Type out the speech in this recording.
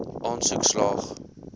aansoek slaag